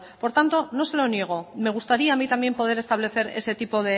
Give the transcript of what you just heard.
por tanto no se lo niego me gustaría a mí también poder establecer ese tipo